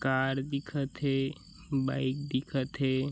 Car दिखत हे bike दिखत हे।